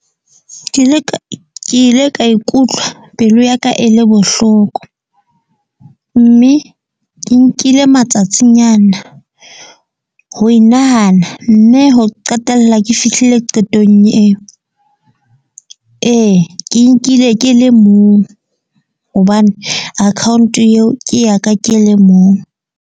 Ke ile ka ikutlwa pelo ya ka e le bohloko. Mme ke nkile matsatsing nyana ho e nahana. Mme ho qetella ke fihlile qetong eo. Ee ke nkile ke le mong, hobane account eo ke ya ka ke le mong.